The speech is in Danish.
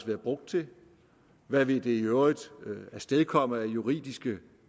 været brugt til hvad det i øvrigt vil afstedkomme af juridiske